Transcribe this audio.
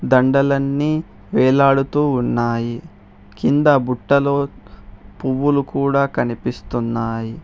దండలన్నీ వేలాడుతూ ఉన్నాయి కింద బుట్టలో పువ్వులు కూడా కనిపిస్తున్నాయి.